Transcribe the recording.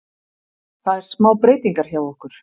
Það er smá breytingar hjá okkur.